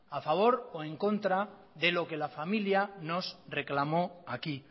a favor o en contra de lo que la familia nos reclamó aquí